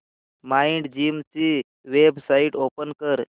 Mindgym ची website open कर